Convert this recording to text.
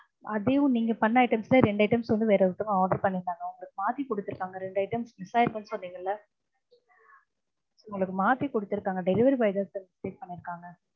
அதையும் நீங்க பண்ண items ல ரெண்டு items வந்து வேற ஒருத்தவங்க order பண்ணிருந்தாங்க அவங்க மாத்தி கொடுத்திருக்காங்க ரெண்டு items miss ஆகிடுச்சு சொன்னீங்கல்ல உங்களுக்கு மாத்தி கொடுத்துதிருக்காங்க delivery boy தான் sir mistake பண்ணிருக்காங்க